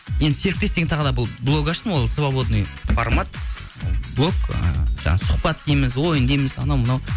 енді серіктес деген тағы блок аштым ғой свободный формат блок ы жаңағы сұхбат дейміз ойын дейміз анау мынау